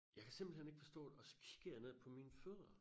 Jeg kan simpelthen ikke forstå det og så kigger jeg ned på mine fødder